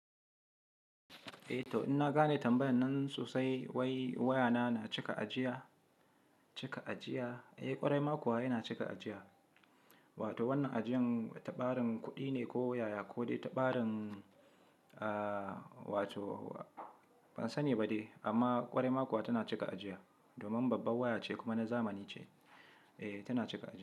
Eh to in na gane tambayar nan sosai wai waya na cika ajiya, cika ajiya? Eh kwarai makuwa yana cika ajiya wato wannan ajiyan tabarin kuɗi ne ko waya ko dai tabarin aah wato ban sani ba dai amma kwarai makuwa tana cika ajiya domin babbar waya ce kuma na zamani ce. Eh tana cika ajiya.